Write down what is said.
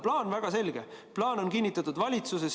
Plaan on väga selge, plaan on kinnitatud valitsuses.